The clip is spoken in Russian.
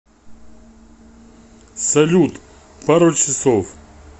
салют пару часов